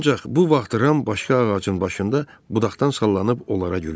Ancaq bu vaxt Ram başqa ağacın başında budaqdan sallanıb onlara gülürdü.